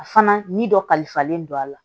A fana ni dɔ kalifalen don a la